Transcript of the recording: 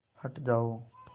हट जाओ